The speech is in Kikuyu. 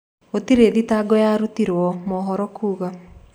Gũtirĩ thitago yarutirwo, maũhoro kuga